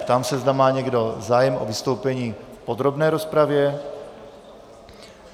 Ptám se, zda má někdo zájem o vystoupení v podrobné rozpravě?